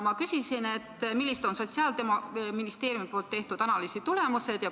Ta küsis, millised on Sotsiaalministeeriumi poolt tehtud analüüsi tulemused?